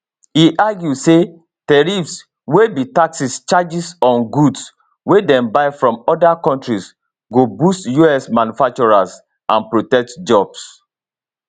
e argue say tariffs wey be taxes charged on goods wey dem buy from oda kontris go boost us manufacturers and protect jobs